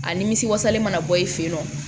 A nimisi wasale mana bɔ i fɛ yen nɔ